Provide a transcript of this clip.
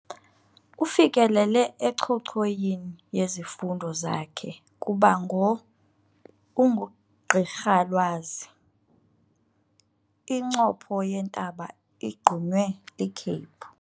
Ufikelele encochoyini yezifundo zakhe kuba ngo ungugqirhalwazi. incopho yentaba igqunywe likhephu